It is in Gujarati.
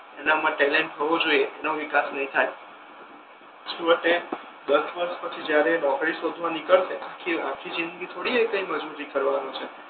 એનામા ટેલેન્ટ હોવો જોઈએ એનો વિકાસ નહી થાય છેવટે દશ વર્ષ પછી જ્યારે એ નોકરી શોધવા નીકળશે આખી જિંદગી થોડી એ મજૂરી કરવાનો છે